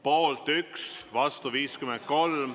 Poolt 1, vastu 53.